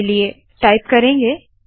इसलिए टाइप करेंगे